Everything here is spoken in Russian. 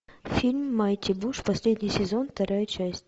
фильм майти буш последний сезон вторая часть